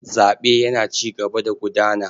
Zaɓe yana cigaba da gudana.